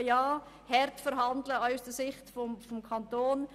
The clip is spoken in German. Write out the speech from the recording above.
Überprüfen soll man durchaus, und der Kanton soll auch hart verhandeln.